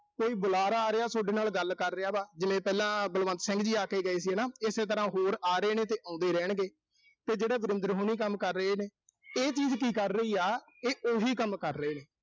ਕੋਈ ਬੁਲਾਰਾ ਆ ਰਿਹਾ ਸੋਡੇ ਨਾਲ ਗੱਲ ਕਰ ਰਿਹਾ ਵਾ, ਜਿਵੇਂ ਪਹਿਲਾਂ ਬਲਵੰਤ ਸਿੰਘ ਜੀ ਆ ਕੇ ਗਏ ਸੀ ਨਾ। ਇਸੇ ਤਰ੍ਹਾਂ ਹੋਰ ਆ ਰਹੇ ਨੇ, ਤੇ ਆਉਂਦੇ ਰਹਿਣਗੇ। ਤੇ ਜਿਹੜੇ ਵਰਿੰਦਰ ਹੋਣੀ ਕੰਮ ਕਰ ਰਹੇ ਨੇ। ਇਹ ਚੀਜ਼ ਕੀ ਕਰ ਰਹੀ ਆ, ਇਹ ਉਹੀ ਕੰਮ ਕਰ ਰਹੇ ਨੇ।